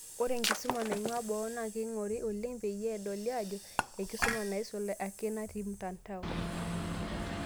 Ore enkisuma naing'ua boo, na keing'ori olen' peyie edoli ajo enkisuma naisul ake natii mtandao.